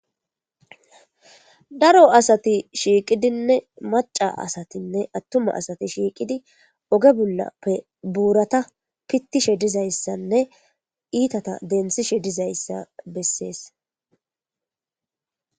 daro asati shiiqidinne maca asatinne attuma asati shiiqidi oge bullappe buurata pittishe dizayssanne iitata dentsishe dizayssa bessees